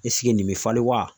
nin bɛ falen wa ?